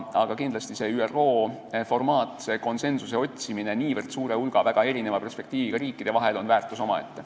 Aga kindlasti on see ÜRO formaat, see konsensuse otsimine niivõrd suure hulga väga erineva perspektiiviga riikide vahel väärtus omaette.